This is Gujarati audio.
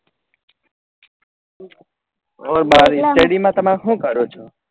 ઓ ભાઈ study તમે હું કરો છો?